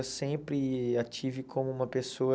Eu sempre a tive como uma pessoa...